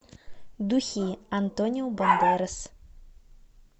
духи антонио бандерас